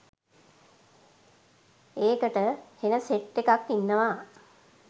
"ඒකට හෙන සෙට් එකක් ඉන්නව